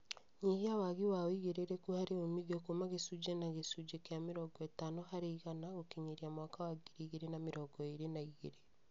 Nyihia wagi wa uigĩrĩrĩku harĩ uumithio kuuma gĩcunjĩ na gĩcunjĩ kĩa mĩrongo itano harĩ igana gũkinyĩria mwaka wa ngiri igĩrĩ na mĩrongo ĩrĩ na igĩrĩ